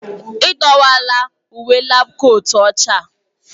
Ị dọwara uwe laabu kootu ọcha a.